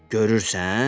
Görürsən?